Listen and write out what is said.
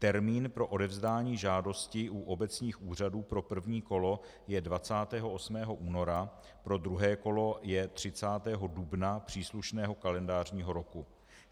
Termín pro odevzdání žádosti u obecních úřadů pro první kolo je 28. února, pro druhé kolo je 30. dubna příslušného kalendářního roku.